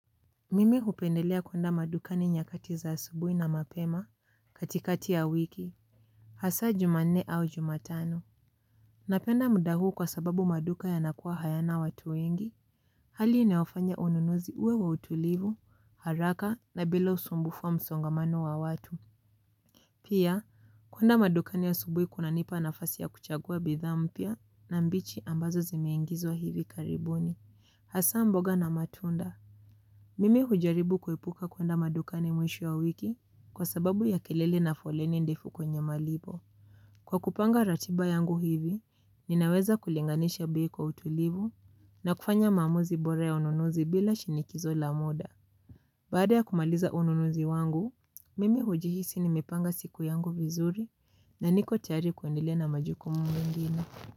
Mimi hupendelea kwenda madukani nyakati za asubuhi na mapema katikati ya wiki. Hasa jumanne au jumatano. Napenda muda huu kwa sababu maduka yanakuwa hayana watu wengi. Hali inayofanya ununuzi uwe wa utulivu, haraka na bila usumbufu wa msongamano wa watu. Pia, kwenda madukani ya asubuhi kuna nipa nafasi ya kuchagua bidhaa mpya na mbichi ambazo zimeingizwa hivi karibuni. Hasa mboga na matunda. Mimi hujaribu kuepuka kwenda madukani mwisho wa wiki kwa sababu ya kelele na foleni ndefu kwenye malipo. Kwa kupanga ratiba yangu hivi, ninaweza kulinganisha bei kwa utulivu na kufanya maamuzi bora ya ununuzi bila shinikizo la muda. Baada ya kumaliza ununuzi wangu, mimi hujihisi nimepanga siku yangu vizuri na niko tayari kuendelea na majukumu mengine.